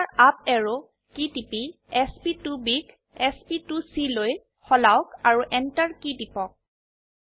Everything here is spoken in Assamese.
আকৌ এবাৰ আপ অ্যাৰো কী টিপি sp2ব ক sp2চি লৈ সলাওক আৰু Enter কী টিপক